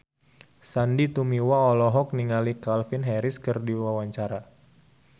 Sandy Tumiwa olohok ningali Calvin Harris keur diwawancara